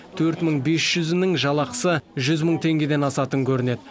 төрт мың бес жүзінің жалақысы жүз мың теңгеден асатын көрінеді